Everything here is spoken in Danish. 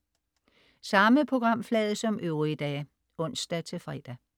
Samme programflade som øvrige dage (ons-fre)